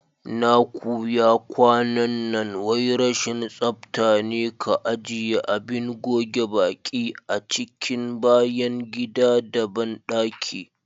Na kuya kwanan nan wai rashin tsaftane ka ajiye Abin goge baƙi a cikin bayan gida da banɗaki.